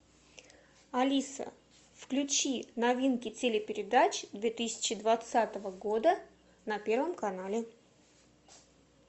алиса включи новинки телепередач две тысячи двадцатого года на первом канале